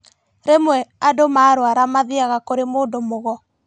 Rĩmwe andũ marũara mathiaga kũrĩ mũndũ mũgo